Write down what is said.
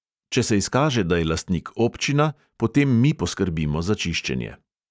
Če se izkaže, da je lastnik občina, potem mi poskrbimo za čiščenje.